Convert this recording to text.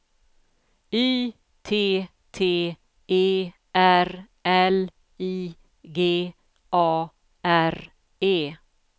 Y T T E R L I G A R E